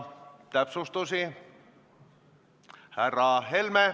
Läheme järgmise päevakorrapunkti juurde.